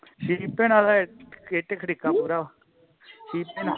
ਸੀਪੇ ਨਾਲ ਹਜੇ ਇੱਟ-ਖੜਿੱਕਾ ਪੂਰਾ ਸੀਪੇ ਨਾਲ